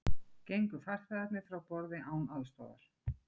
Hitabylgja í Bandaríkjunum